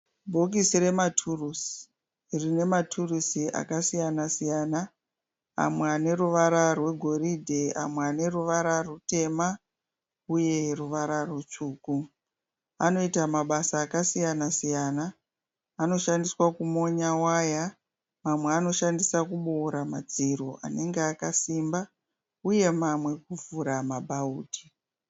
Bhokisi rematurusi rine maturusi akasiyanasiyana. Amwe ane ruvara rwegoridhe amwe ane ruvara rutema uye ruvara rutsvuku. Anoita mabasa akasiyanasiyana. Anoshandiswa kumonya waya, mamwe anoshandiswa kuboora madziro anenge akasimba uye mamwe okuvhura mabhaudhi.